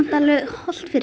hollt fyrir